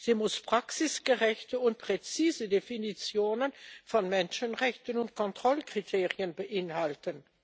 Sie muss praxisgerechte und präzise Definitionen von Menschenrechten und Kontrollkriterien beinhalten.